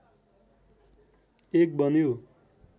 एक बन्यो